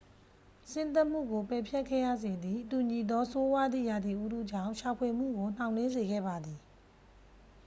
ဆင်းသက်မှုကို ပယ်ဖျက်ခဲ့ရစေသည့် တူညီသော ဆိုးဝါးသည့် ရာသီဥတုကြောင့် ရှာဖွေမှုကို နှောင့်နှေးစေခဲ့ပါသည်